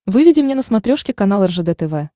выведи мне на смотрешке канал ржд тв